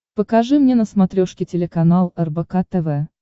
покажи мне на смотрешке телеканал рбк тв